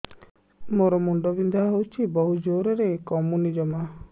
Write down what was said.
ମୋର ମୁଣ୍ଡ ବିନ୍ଧା ହଉଛି ବହୁତ ଜୋରରେ କମୁନି ଜମା